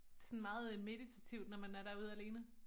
Det sådan meget meditativt når man er derude alene